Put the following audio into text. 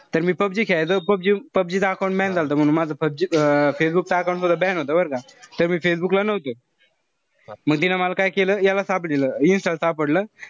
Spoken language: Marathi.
तर मी पबजी खेळायचो पबजी पबजीच account ban झालत मंग. म्हणून माझं पबजी अं फेसबुकच account सुद्धा ban होत बरं का. त मी फेसबुक ला नव्हतो. म तिनं मल काय केलं. याला दिल insta ला सापडलं.